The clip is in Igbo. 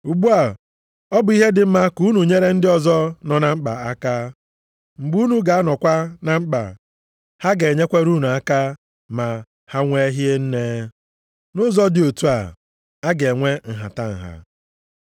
Ugbu a, ọ bụ ihe dị mma ka unu nyere ndị ọzọ nọ na mkpa aka. Mgbe unu ga-anọkwa na mkpa, ha ga-enyere unu aka ma ha nwee hie nne. Nʼụzọ dị otu a, a ga-enwe nhatanha.